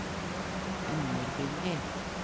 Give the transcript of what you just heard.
underbygger